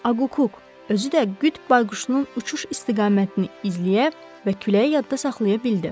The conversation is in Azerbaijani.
Aqquk, özü də qıt bayquşunun uçuş istiqamətini izləyə və küləyi yadda saxlaya bildi.